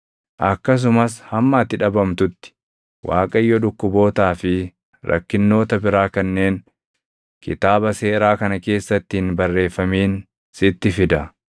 Akkasumas hamma ati dhabamtutti Waaqayyo dhukkubootaa fi rakkinnoota biraa kanneen Kitaaba Seeraa kana keessatti hin barreeffamin sitti fida.